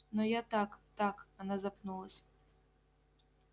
но я так так она запнулась